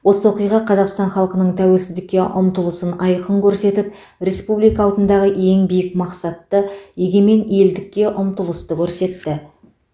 осы оқиға қазақстан халқының тәуелсіздікке ұмтылысын айқын көрсетіп республика алдындағы ең биік мақсатты егемен елдікке ұмтылысты көрсетті